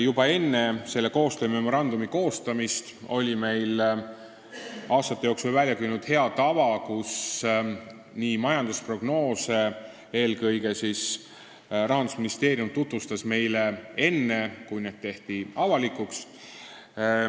Juba enne selle koostöömemorandumi koostamist oli meil aastate jooksul välja kujunenud hea tava, et eelkõige Rahandusministeerium tutvustas meile majandusprognoose enne, kui need avalikuks tehti.